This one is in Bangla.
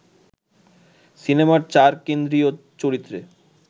সিনেমার চার কেন্দ্রীয় চরিত্রে